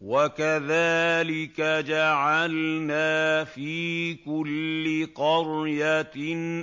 وَكَذَٰلِكَ جَعَلْنَا فِي كُلِّ قَرْيَةٍ